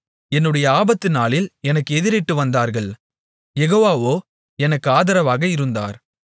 என்னுடைய ஆபத்துநாளில் எனக்கு எதிரிட்டு வந்தார்கள் யெகோவாவோ எனக்கு ஆதரவாக இருந்தார்